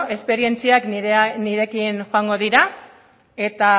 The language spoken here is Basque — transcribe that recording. esperientziak nirekin joango dira eta